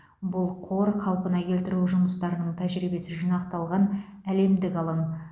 бұл қор қалпына келтіру жұмыстарының тәжірибесі жинақталған әлемдік алаң